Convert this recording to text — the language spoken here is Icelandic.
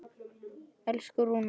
Elsku Rúnar.